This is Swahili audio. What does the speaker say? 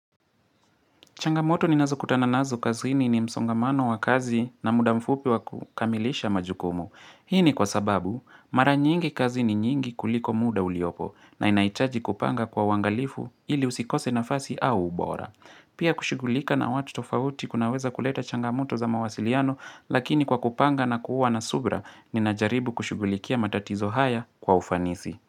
Changamoto ninazokutana nazo kazini ni msongamano wa kazi na muda mfupi wa kukamilisha majukumu. Hii ni kwa sababu mara nyingi kazi ni nyingi kuliko muda uliopo na inahitaji kupanga kwa uangalifu ili usikose nafasi au ubora. Pia kushughulika na watu tofauti kunaweza kuleta changamoto za mawasiliano lakini kwa kupanga na kuwa na subira ninajaribu kushughulikia matatizo haya kwa ufanisi.